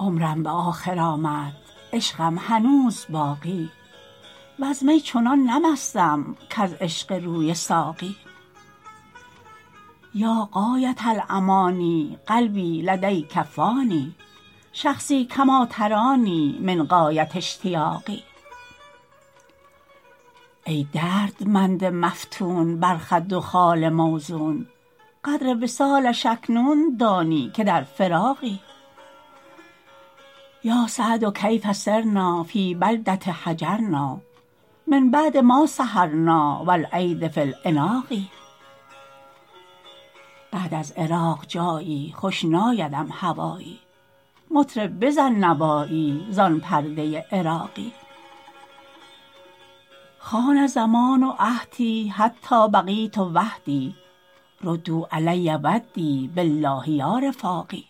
عمرم به آخر آمد عشقم هنوز باقی وز می چنان نه مستم کز عشق روی ساقی یا غایة الأمانی قلبی لدیک فانی شخصی کما ترانی من غایة اشتیاقی ای دردمند مفتون بر خد و خال موزون قدر وصالش اکنون دانی که در فراقی یا سعد کیف صرنا فی بلدة هجرنا من بعد ما سهرنا و الایدی فی العناق بعد از عراق جایی خوش نایدم هوایی مطرب بزن نوایی زان پرده عراقی خان الزمان عهدی حتی بقیت وحدی ردوا علی ودی بالله یا رفاقی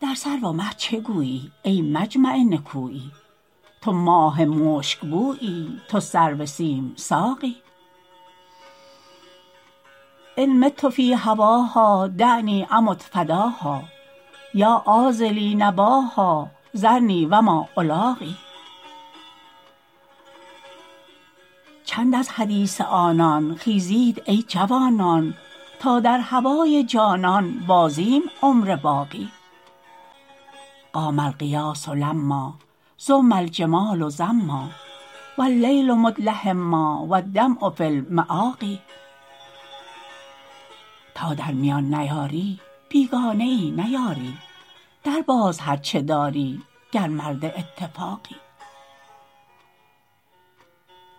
در سرو و مه چه گویی ای مجمع نکویی تو ماه مشکبویی تو سرو سیم ساقی ان مت فی هواها دعنی امت فداها یا عاذلی نباها ذرنی و ما الاقی چند از حدیث آنان خیزید ای جوانان تا در هوای جانان بازیم عمر باقی قام الغیاث لما زم الجمال زما و اللیل مدلهما و الدمع فی المآقی تا در میان نیاری بیگانه ای نه یاری درباز هر چه داری گر مرد اتفاقی